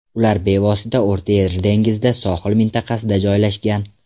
Ular bevosita O‘rta Yer dengizida, Sohil mintaqasida joylashgan.